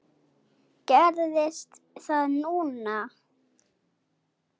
Gerðist það núna?